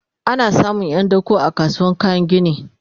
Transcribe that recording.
ana samun Yan dako a kasuwar kayan gini